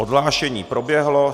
Odhlášení proběhlo.